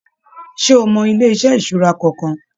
Ṣe o mọ ilé-iṣẹ ìṣura kankan?